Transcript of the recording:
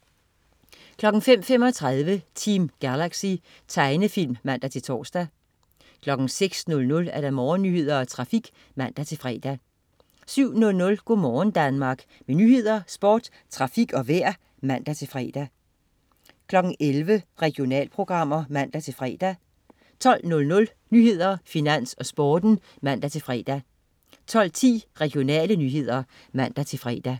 05.35 Team Galaxy. Tegnefilm (man-tors) 06.00 Morgennyheder og trafik (man-fre) 07.00 Go' morgen Danmark. Med nyheder, sport, trafik og vejr (man-fre) 11.00 Regionalprogrammer (man-fre) 12.00 Nyhederne, Finans, Sporten (man-fre) 12.10 Regionale nyheder (man-fre)